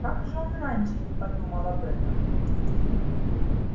как же он раньше не подумал об этом